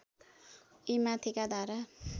यी माथिका धारा